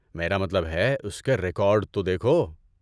میرا مطلب ہے، اس کے ریکارڈ تو دیکھو۔